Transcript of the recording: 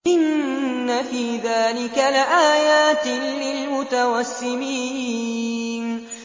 إِنَّ فِي ذَٰلِكَ لَآيَاتٍ لِّلْمُتَوَسِّمِينَ